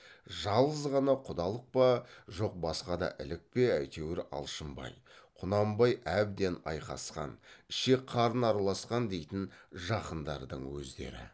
жалғыз ғана құдалық па жоқ басқа да ілік пе әйтеуір алшынбай құнанбай әбден айқасқан ішек қарын араласқан дейтін жақындардың өздері